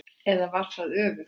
Eða var það öfugt?